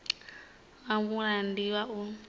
wa mulamukanyi ndi wa u